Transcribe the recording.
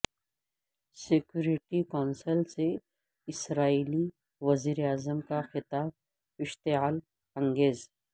security council سے اسرائیلی وزیرا عظم کا خطاب اشتعال انگیز